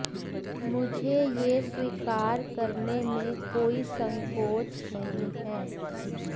मुझे यह स्वीकार करने में कोई संकोच नहीं है